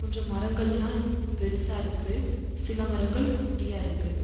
கொஞ்சோ மரங்கள்லா பெருசா இருக்கு சில மரங்கள் குட்டியா இருக்கு.